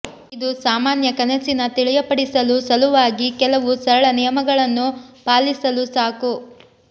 ಇದು ಸಾಮಾನ್ಯ ಕನಸಿನ ತಿಳಿಯಪಡಿಸಲು ಸಲುವಾಗಿ ಕೆಲವು ಸರಳ ನಿಯಮಗಳನ್ನು ಪಾಲಿಸಲು ಸಾಕು